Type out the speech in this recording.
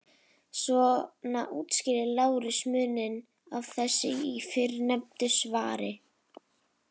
Svona útskýrir Lárus muninn á þessu í fyrrnefndu svari: